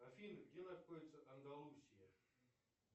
афина где находится андалусия